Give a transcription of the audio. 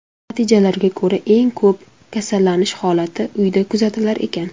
Natijalarga ko‘ra, eng ko‘p kasallanish holati uyda kuzatilar ekan.